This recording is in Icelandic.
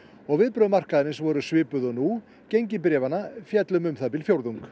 og viðbrögð markaðarins voru svipuð og nú gengi bréfanna féll um um það bil fjórðung